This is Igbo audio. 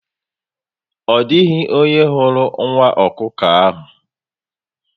Odịghị onye hụrụ nwa ọkụkọ ahụ